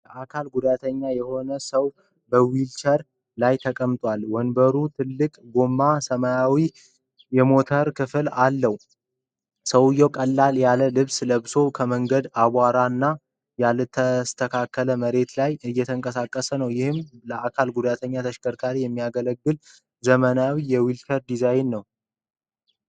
የአካል ጉዳተኛ የሆነ ሰው በዊልቸር ላይ ተቀምጠዋል። ወንበሩ ትልቅ ጎማዎችና ሰማያዊ የሞተር ክፍል አለው። ሰውየው ቀለል ያለ ልብስ ለብሶ ከመንገዱ አቧራማና ያልተስተካከለ መሬት ላይ እየተንቀሳቀሰ ነው። ይህም ለአካል ጉዳተኞች ተሽከርካሪ የሚያገለግል ዘመናዊ የዊልቸር ዲዛይን ነው።